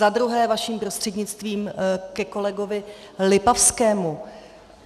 Za druhé vaším prostřednictvím ke kolegovi Lipavskému.